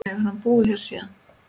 Hefur hann búið hér síðan.